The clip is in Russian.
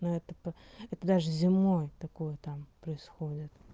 ну это п это даже земной такое там происходит